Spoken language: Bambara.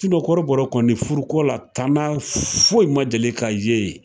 kɔrɔbɔrɔ kɔni furu ko la tana foyi ma deli ka ye yen.